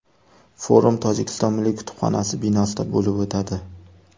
Forum Tojikiston milliy kutubxonasi binosida bo‘lib o‘tadi.